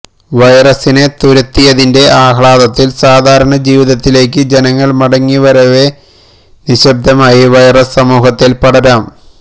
വൈറസിനെ തുരത്തിയതിന്റെ ആഹ്ലാദത്തിൽ സാധാരണ ജീവിതത്തിലേക്ക് ജനങ്ങൾ മടങ്ങിവരവെ നിശ്ശബ്ദമായി വൈറസ് സമൂഹത്തിൽ പടരാം